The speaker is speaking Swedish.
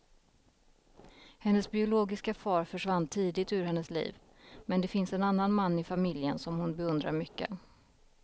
Hennes biologiska far försvann tidigt ur hennes liv, men det finns en annan man i familjen som hon beundrar mycket.